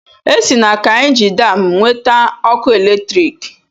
Esi na Kaịnji Daam nweta ọkụ eletriki.